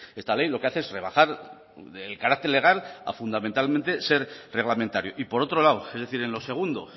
esta ley lo que hace es rebajar del carácter legal a fundamentalmente ser reglamentario y por otro lado es decir en lo segundo